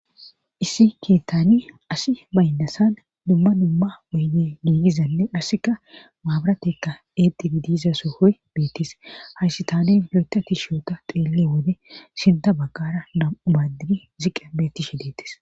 issi keettani asi baynnasan dumma dumma oyde giigizanne dhassika maabaratekka eetibi diiza so hoy beettis haysi taanen yoyta ti shioota xeelle wode sinta baggara dam7ubadidi ziqa bettishe deettis